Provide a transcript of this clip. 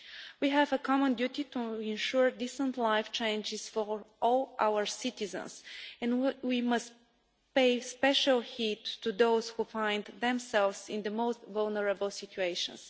We have a common duty to ensure decent life chances for all our citizens and we must pay special heed to those who find themselves in the most vulnerable situations.